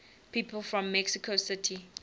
people from mexico city